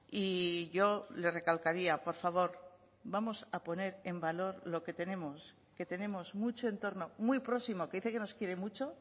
y yo le recalcaría por favor vamos a poner en valor lo que tenemos que tenemos mucho entorno muy próximo que dice que nos quiere mucho